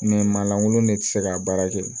maa lankolon ne tɛ se k'a baara kɛ